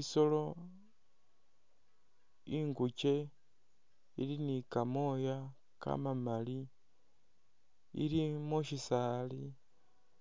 Isolo inguke ili ni kamooya kamamali ili.mu syisaali